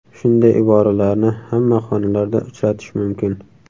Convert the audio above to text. Shunday iboralarni hamma xonalarda uchratish mumkin.